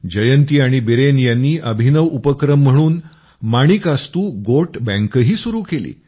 जयंती आणि बीरेन यांनी एक अभिनव उपक्रम म्हणून माणिकास्तू गोट बॅंक ही सुरू केली